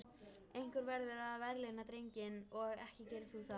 Einhver verður að verðlauna drenginn og ekki gerir þú það.